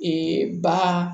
ba